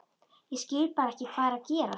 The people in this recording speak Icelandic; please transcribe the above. Ég skil bara ekki hvað er að gerast.